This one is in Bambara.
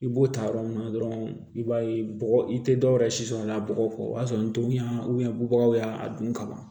I b'o ta yɔrɔ min na dɔrɔn i b'a ye bɔgɔ i tɛ dɔwɛrɛ si sɔrɔ a la bɔgɔ kɔ o y'a sɔrɔ ndugunya bɔbagaw y'a dun ka ban